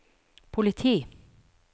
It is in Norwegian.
politi